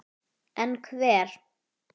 En hver?